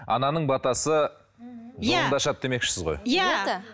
ананың батасы жолыңды ашады демекшісісіз ғой иә